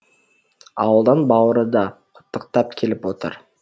ауылдан бауыры да құттықтап келіп отыр